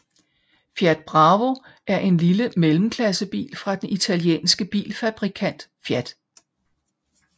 Fiat Bravo er en lille mellemklassebil fra den italienske bilfabrikant Fiat